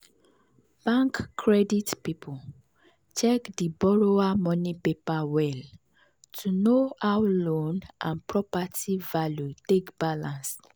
bank credit people check di borrower money paper well to know how loan and property value take balance.